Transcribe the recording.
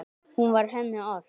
Hún var henni allt.